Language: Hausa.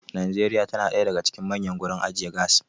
Nigeria tana da ɗaya daga cikin manyan gurin ajiye gas